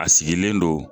A sigilen don